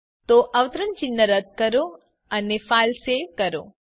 તો અવતરણ ચિહ્ન રદ કરો અને ફાઈલ સેવ કરો